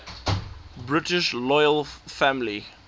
british royal family